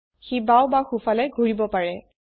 সি বাওঁ বা সোঁফালে ঘূৰিব পাৰে